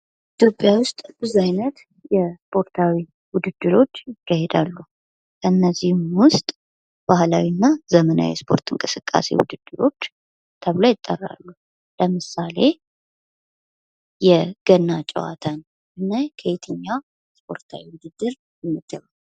ኢትዮጵያ ውስጥ ብዙ አይነት የስፖርታዊ ውድድሮች ይካሄዳሉ ከእነዚህም ውስጥ ባህላዊ እና ዘመናዊ የስፖርት እንቅስቃሴ ውድድሮች ተብለው ይጠራሉ ። ለምሳሌ የገና ጨዋታን ብናይ ከየትኛው ስፖርታዊ ውድድር ይመደባል?